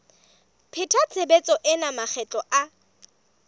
pheta tshebetso ena makgetlo a